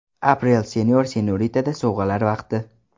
Aprel Senor & Senorita’da sovg‘alar vaqti.